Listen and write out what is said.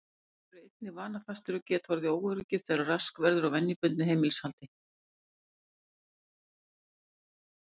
Páfagaukar eru einnig vanafastir og geta orðið óöruggir þegar rask verður á venjubundnu heimilishaldi.